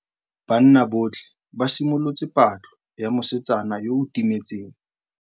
Banna botlhê ba simolotse patlô ya mosetsana yo o timetseng.